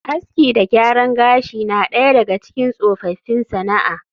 Aski da gyaran gashi na daya daga cikin tsofaffin sana’a